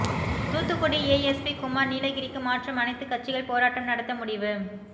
Thoothukudi ASP Kumar நீலகிரிக்கு மாற்றம் அனைத்து கட்சிகள் போராட்டம் நடத்த முடிவு